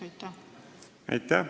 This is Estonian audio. Aitäh!